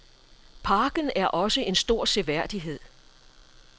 Parken er også en stor seværdighed.